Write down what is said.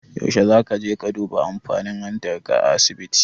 Yaushe zaka je ka duba amfani hantar ka a asibiti?